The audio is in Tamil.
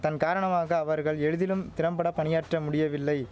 தன் காரணமாக அவர்கள் எளிதிலும் திறம்பட பணியாற்ற முடியவில்லை